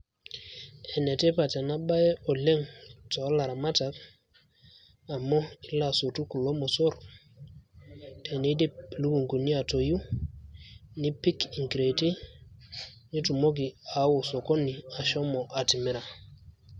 Enetipat enabae oleng' tolaramatak, amu ilo asotu kulo mosor teneidip ilukunkuni atoyu, nipik inkireeti, nitumoki ao osokoni ashomo atimira.